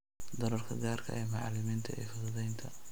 Doorka gaarka ah ee macalimiinta ee fududaynta